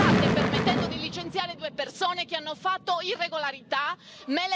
Non mi state permettendo di licenziare due persone che hanno fatto irregolarità.